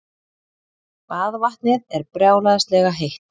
Baðvatnið er brjálæðislega heitt.